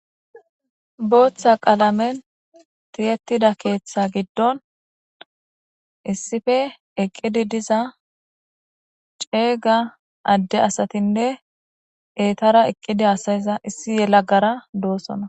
Boththa qaleme tiyteda keththa giddon issippe eqide de'za c'ega ade astenne etara eqidi hasayiza issi yelagara dossona.